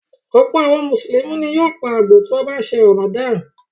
Ọ̀pọ̀ àwọn Mùsùlùmí ni yóò pa àgbò tí wọ́n bá ń ṣe Ramadan.